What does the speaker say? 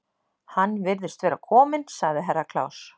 Hann virðist vera kominn, sagði Herra Kláus.